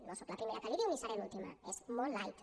no soc la primera que l’hi diu ni seré l’última és molt light